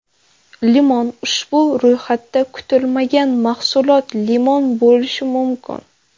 Limon Ushbu ro‘yxatda kutilmagan mahsulot limon bo‘lishi mumkin.